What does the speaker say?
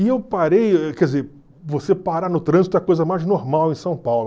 E eu parei, quer dizer, você parar no trânsito é a coisa mais normal em São Paulo.